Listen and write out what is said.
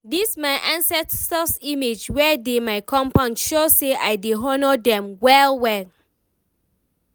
this my ancestors image wey dey my compound show say I dey honour dem well well.